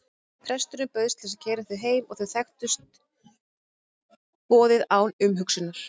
Presturinn bauðst til að keyra þau heim og þau þekktust boðið án umhugsunar.